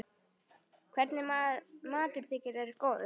Hvernig matur þykir þér góður?